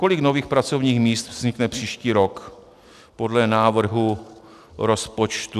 Kolik nových pracovních míst vznikne příští rok podle návrhu rozpočtu?